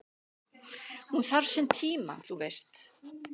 """Hún þarf sinn tíma, þú veist"""